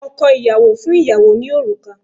Ọkọ ìyàwó fún ìyàwó ní òrùka